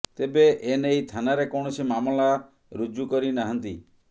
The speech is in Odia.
ତେବେ ଏନେଇ ଥାନାରେ କୌଣସି ମାମଲା ରୁଜୁ କରି ନାହାନ୍ତି